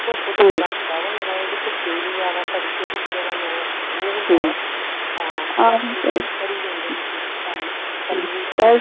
ਧੁੱਪ ਚ ਏਦਾਂ ਹੁੰਦਾ ਵ ਜਿਹੜਾ ਧੁੱਪੇ ਨਹੀਂ ਜਾਣਾ ਦਾ ਜਿਆਦਾ ਉਹ ਹੁੰਦਾ ਵਾ ਹਾਂ ਕਰੀ ਜਾਂਦੇ ਲੋਕੀ ਕੰਮ